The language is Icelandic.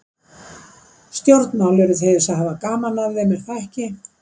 Stjórnmál eru til þess að hafa gaman af þeim, er það ekki?